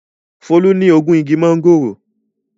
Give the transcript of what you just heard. Folú ní ogún igi máńgòrò.